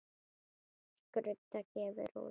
Skrudda gefur út.